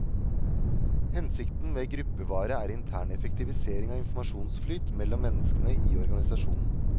Hensikten med gruppevare er intern effektivisering av informasjonsflyt mellom menneskene i organisasjonen.